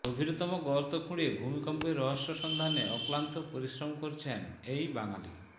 গভীরতম গর্ত খুঁড়ে ভূমিকম্পের রহস্য সন্ধানে অক্লান্ত পরিশ্রম করছেন এই বাঙালি